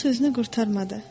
o sözünü qurtarmadı.